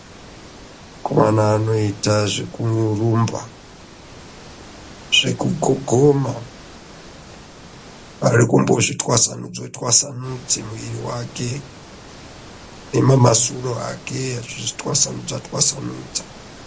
Vakomana vanoita zvekurumba Zvekukuguma kutwasanuka kuti mwiri wake neamhasyru ake atwasanudza twasanudza.